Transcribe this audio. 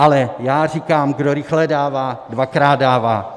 Ale já říkám, kdo rychle dává, dvakrát dává.